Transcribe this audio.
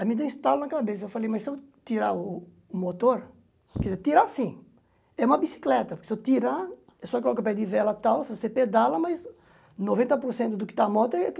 Aí me deu um estalo na cabeça, eu falei, mas se eu tirar o o motor, quer dizer, tirar assim, é uma bicicleta, porque se eu tirar, é só colocar pé de vela e tal, se você pedala, mas noventa por do que está moto é